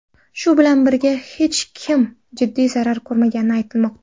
Shu bilan birga, hech kim jiddiy zarar ko‘rmagani aytilmoqda.